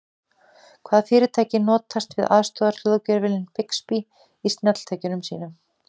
Hvaða fyrirtæki notast við aðstoðarhljóðgervilinn Bixby í snjalltækjum sínum?